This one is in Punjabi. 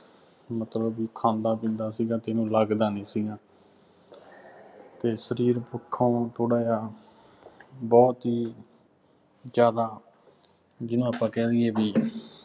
ਮਤਲਬ ਬਈ ਖਾਂਦਾ ਪੀਂਦਾ ਸੀਗਾ ਅਤੇ ਇਹਨੂੰ ਲੱਗਦਾ ਨਹੀਂ ਸੀਗਾ ਅਤੇ ਸਰੀਰ ਪੱਖੋਂ ਥੋੜ੍ਹਾ ਜਿਹਾ ਬਹੁਤ ਹੀ ਜ਼ਿਆਦਾ ਜਿਹਨੂੰ ਆਪਾਂ ਕਹਿ ਦੇਈਏ ਬਈ